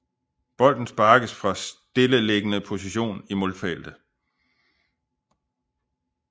Bolden sparkes fra stilleliggende position i målfeltet